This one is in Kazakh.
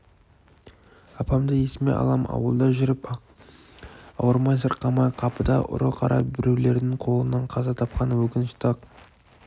апамды есіме алам ауылда жүріп-ақ ауырмай-сырқамай қапыда ұры-қара біреулердің қолынан қаза тапқаны өкінішті-ақ